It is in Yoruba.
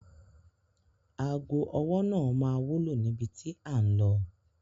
Aago ọwọ́ náà máa wúlò níbi tí à ń lọ.